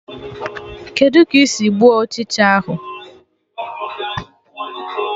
Kedụ ka ị sị gbuo Ụchịcha ahụ?